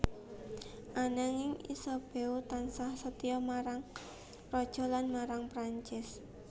Ananging Isabeau tansah setya marang Raja lan marang Prancis